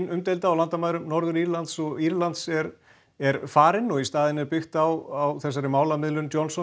umdeilda á landamærum Norður Írlands og Írlands er er farin og í staðinn byggt á málamiðlun Johnsons